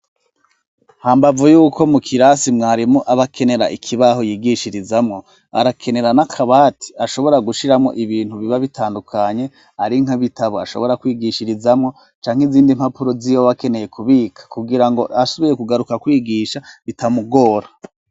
hambavu yuko mu kirasi mwarimu abakenera ikibaho yigishirizamwo arakenera na kabati ashobora gushiramo ibintu biba bitandukanye ari nkabitabo ashobora kwigishirizamwo janke izindi mpapuro zibo bakeneye kubika kugira ngo ashoboye kugaruka kwigisha bitamugora